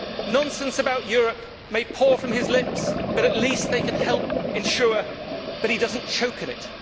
Nonsense about Europe may pour from his lips but at least they can help ensure that he does not choke on it.